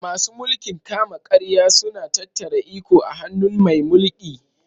Masu mulkin kama karya suna tattara Iko a hannun mai mulƙi